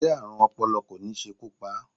Ṣé Ààrùn ọpọlọ kò ní ṣekú pa á?